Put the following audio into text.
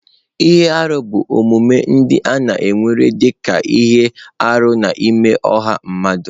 Ihe arụ bụ omume ndị a na-ewere dị ka ihe arụ n'ime ọha mmadụ.